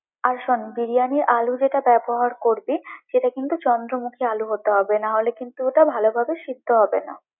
আর শোন, বিরিয়ানির আলু যেটা ব্যবহার করবি, সেটা কিন্তু চন্দ্রমুখী আলু হতে হবে, নাহলে কিন্তু ওটা ভালোভাবে সিদ্ধ হবে না।